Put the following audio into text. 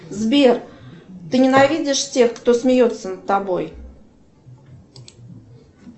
сбер ты ненавидишь тех кто смеется над тобой